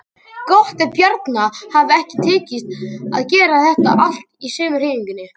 Gott ef Bjarna hafi ekki tekist að gera þetta allt í sömu hreyfingunni.